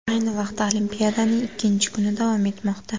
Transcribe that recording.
Ayni vaqtda olimpiadaning ikkinchi kuni davom etmoqda.